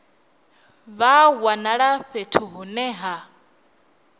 vha wanala fhethu hune ha